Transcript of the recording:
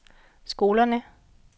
skolerne